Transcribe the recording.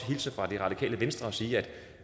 hilse fra det radikale venstre og sige at